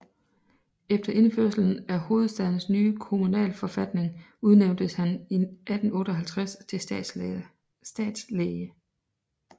Efter indførelsen af hovedstadens nye kommunalforfatning udnævntes han i 1858 til stadslæge